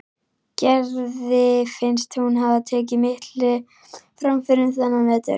Gerði finnst hún hafa tekið miklum framförum þennan vetur.